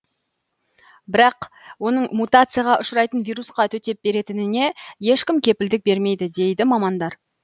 бірақ оның мутацияға ұшырайтын вирусқа төтеп беретініне ешкім кепілдік бермейді дейді мамандар